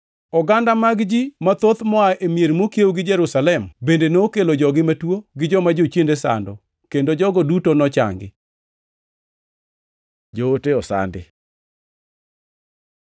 Oganda mag ji mathoth moa e mier mokiewo gi Jerusalem bende nokelo jogi matuo gi joma jochiende sando, kendo jogo duto nochangi. Joote osandi